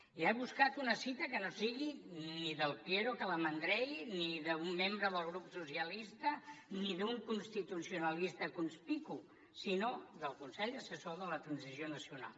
ja he buscat una cita que no sigui ni del piero calamandrei ni d’un membre del grup socialistes ni d’un constitucionalista conspicu sinó del consell assessor per a la transició nacional